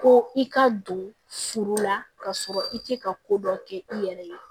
Ko i ka don furu la ka sɔrɔ i tɛ ka ko dɔ kɛ i yɛrɛ ye